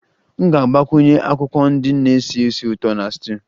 M ga-agbakwunye akwụkwọ ndị na-esi ísì ụtọ na stew